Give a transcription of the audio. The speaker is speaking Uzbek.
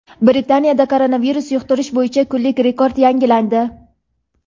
Britaniyada koronavirus yuqtirish bo‘yicha kunlik rekord yangilandi.